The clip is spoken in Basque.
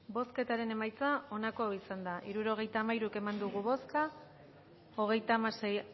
bozketaren emaitza onako izan da hirurogeita hamairu eman dugu bozka hogeita hamasei